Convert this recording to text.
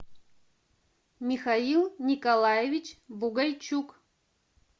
михаил николаевич бугайчук